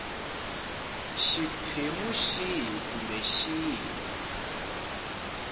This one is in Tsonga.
xiphemu xihi kumbe xihi xa